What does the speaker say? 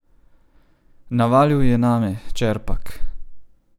Navalil je name, Čerpak!